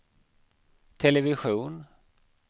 television